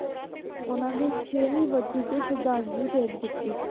ਉਹਨਾਂ ਦੀ ਛੇਵੀਂ ਬਰਸ਼ੀ ਤੇ ਸਰਧਾਂਜ਼ਲੀ ਭੇਟ ਕੀਤੀ ਸੀ।